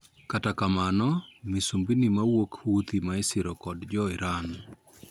Kata kamano misumbni ma wuok Huthi ma isiro kod jo Iran